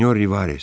Sinyor Rivares!